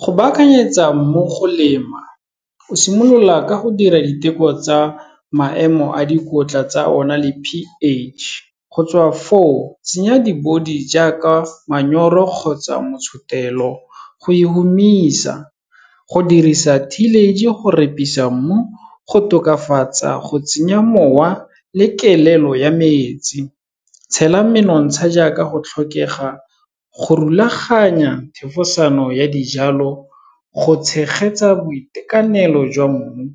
Go baakanyetsa mmu go lema, o simolola ka go dira diteko tsa maemo a dikotla tsa ona le p_H, go tswa foo, tsenya di-body jaaka manyoro kgotsa motshotelo, go e humisa, go dirisa tillage, go repisa mmu, go tokafatsa, go tsenya mowa le kelelo ya metsi, tshela menontsha jaaka go tlhokega, go rulaganya thefosano ya dijalo, go tshegetsa boitekanelo jwa mmu,